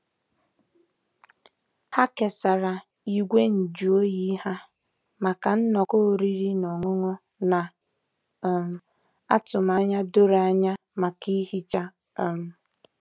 Ha kesara igwe nju oyi ha maka nnọkọ oriri na ọṅụṅụ, na um atụmanya doro anya maka ihicha. um